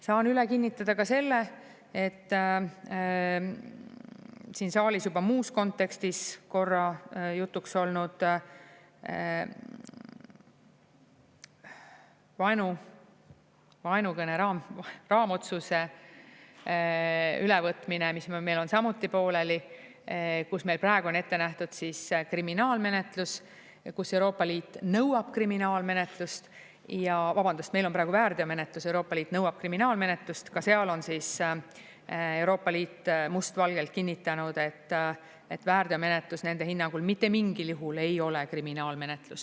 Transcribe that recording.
Saan üle kinnitada ka selle, et siin saalis juba muus kontekstis korra jutuks olnud vaenukõne raamotsuse ülevõtmine, mis meil on samuti pooleli, kus meil praegu on ette nähtud kriminaalmenetlus, kus Euroopa Liit nõuab kriminaalmenetlust, vabandust, meil on praegu väärteomenetlus, Euroopa Liit nõuab kriminaalmenetlust, ka seal on Euroopa Liit must valgel kinnitanud, et väärteomenetlus nende hinnangul mitte mingil juhul ei ole kriminaalmenetlus.